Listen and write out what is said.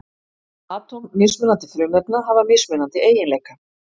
Atóm mismunandi frumefna hafa mismunandi eiginleika.